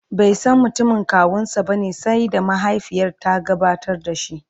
baisan mutumin kawunsa bane sai da mahaifiyarsa ta gabatar da shi